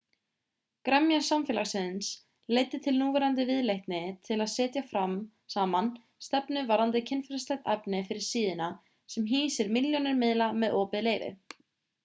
gremja samfélagsins leiddi til núverandi viðleitni til að setja saman stefnu varðandi kynferðislegt efni fyrir síðuna sem hýsir milljónir miðla með opið leyfi